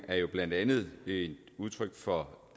er blandt andet udtryk for